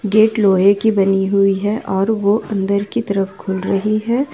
Gate लोहे की बनी हुई है और वो अंदर की तरफ खुल रही है।